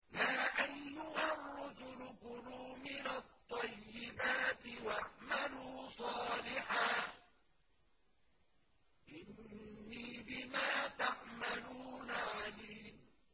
يَا أَيُّهَا الرُّسُلُ كُلُوا مِنَ الطَّيِّبَاتِ وَاعْمَلُوا صَالِحًا ۖ إِنِّي بِمَا تَعْمَلُونَ عَلِيمٌ